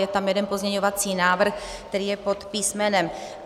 Je tam jeden pozměňovací návrh, který je pod písm.